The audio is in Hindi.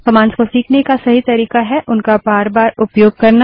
कमांड्स को सीखने का सही तरीका है उनका बार बार उपयोग करना